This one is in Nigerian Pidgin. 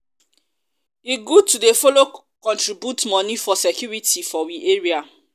e good to dey follow contribute contribute moni for security for we area.